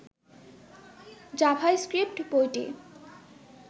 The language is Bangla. জাভাস্ক্রিপ্ট বইটি